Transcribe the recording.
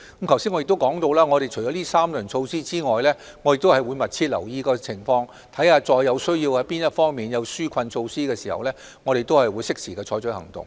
正如我剛才提及，除了這3輪措施之外，我們會密切留意情況，當某方面需要實施紓困措施時，便會適時採取行動。